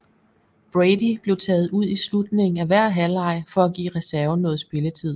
Brady blev taget ud i slutningen af hver halvleg for at give reserven noget spilletid